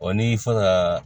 Ɔ ni fɔ ka